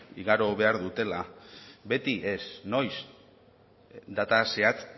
igaro behar dutela beti ez noiz data zehatz